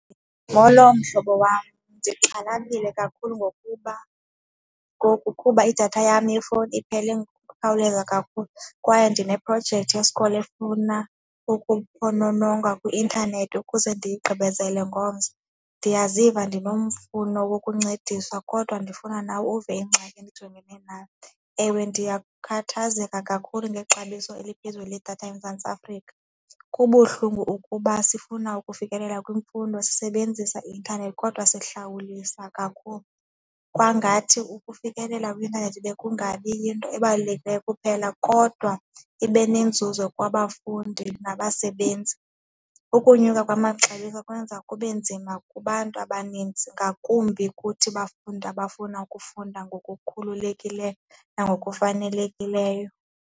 Molo, mhlobo wam, ndixhalabile kakhulu ngokuba ngoku kuba idatha yam yefowuni iphele ngokukhawuleza kakhulu kwaye ndineprojekthi yesikolo efuna ukuphonononga kwi-intanethi ukuze ndigqibezele ngomso. Ndiyaziva ndinomfuno wokukuncedisaw kodwa ndifuna nawe uve ingxaki endijongene nayo. Ewe, ndiyakhathazeka kakhulu ngexabiso eliphezulu ledatha eMzantsi Afrika, kubuhlungu ukuba sifuna ukufikelela kwimfundo sisebenzisa i-intanethi kodwa sihlawulisa kakhulu kwangathi ukufikelela kwi-intanethi bekungabi yinto ebalulekileyo kuphela kodwa ibe nenzuzo kwabafundi nabasebenzi. Ukonyuka kwamaxabiso kwenza kube nzima kubantu abanintsi ngakumbi kuthi bafundi abafuna ukufunda ngokukhululekileyo nangokufanelekileyo.